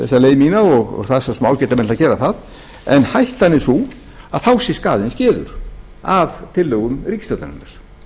það er svo sem ágætt að gera það en hættan er sú að þá sé skaðinn skeður af tillögum ríkisstjórnarinnar